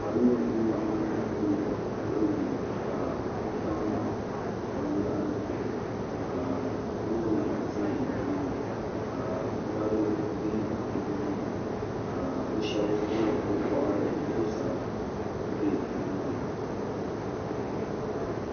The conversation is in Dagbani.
Salo n laɣim bɛ luɣi yini ka bi tam bini yahari zuɣu ka loori za nimaani ka mori bɛ nimaani ka bi shɛba wuɣi bi bɔɣiri zuɣusaa n bɛ ni maa ni.